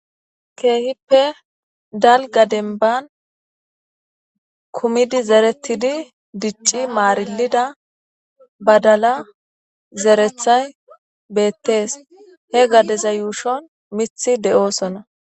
Keehippe dalga demban kumid deretidi dici marilida badala getethzay beetes. He gadeza yuushon mithi de'osona.